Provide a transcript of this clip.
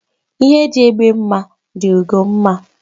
Ihe dị egbe mma dị ugo mma